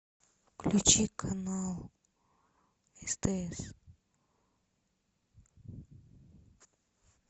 включи канал стс